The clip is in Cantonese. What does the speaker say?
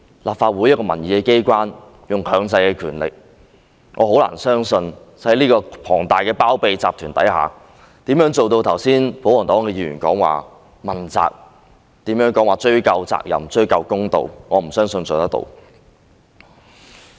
立法會是一個民意機關，可以運用強制的權力，但我很難相信在龐大的包庇集團下，可做到剛才保皇黨議員說的問責、追究責任，討回公道；我不相信可以做到。